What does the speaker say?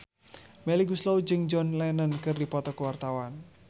Melly Goeslaw jeung John Lennon keur dipoto ku wartawan